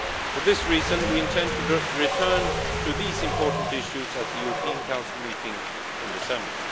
is. For this reason, we intend to return to these important issues at the European Council meeting in December.